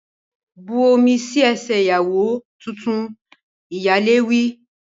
Bu omi sí ẹsẹ̀ ìyàwó tuntun! Ìyálé wí.